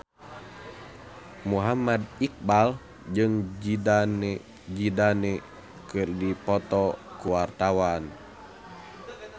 Muhammad Iqbal jeung Zidane Zidane keur dipoto ku wartawan